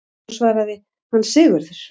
Hún svaraði: Hann Sigurður!